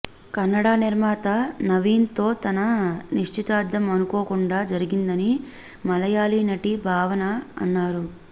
కన్నడ నిర్మాత నవీన్తో తన నిశ్చితార్థం అనుకోకుండా జరిగిందని మలయాళీ నటి భావన అన్నారు